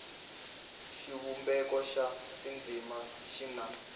xivumbeko xa tindzimana xi na